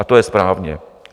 A to je správně.